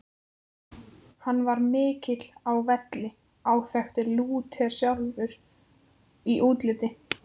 Hann var mikill á velli, áþekkur Lúter sjálfum í útliti.